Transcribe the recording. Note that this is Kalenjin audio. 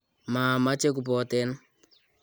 maameche kuboten